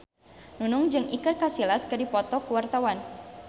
Nunung jeung Iker Casillas keur dipoto ku wartawan